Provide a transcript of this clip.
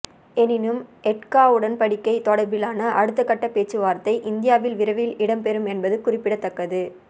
எனினும் எட்கா உடன்படிக்கை தொடர்பிலான அடுத்த கட்ட பேச்சவார்த்தை இந்தியாவில் விரைவில் இடம் பெறும் என்பதும் குறிப்பிடத்தக்கது